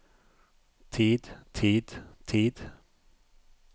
tid tid tid